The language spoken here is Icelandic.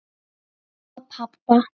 Og pabba.